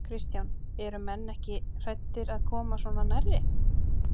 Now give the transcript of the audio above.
Kristján: Eru menn ekki hræddir að koma svona nærri?